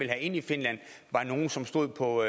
have ind i finland var nogle som stod på